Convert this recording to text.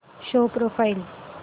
show profile